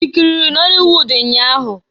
I kiriri nọli wud nnya ahụ?